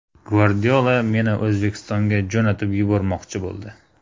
Gvardiola meni O‘zbekistonga jo‘natib yubormoqchi bo‘ldi.